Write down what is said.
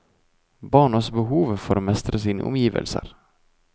Barns behov for å mestre sine omgivelser.